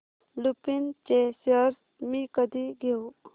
लुपिन चे शेअर्स मी कधी घेऊ